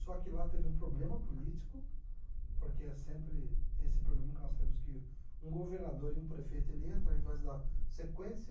Só que lá teve um problema político, porque é sempre esse problema que nós temos, que um governador e um prefeito ele entra em vez da sequência.